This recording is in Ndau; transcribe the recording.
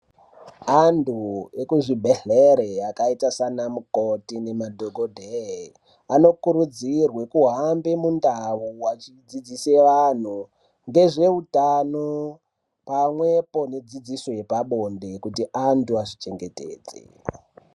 Antu ekuzvibhedhlere, akaita sanamukoti nemadhokodheya, anokurudzirwe kuhambe mundawu achidzidzise vantu ngezvehutano, pamwepo nedzidziso yepabonde kuti antu azvichengetedze.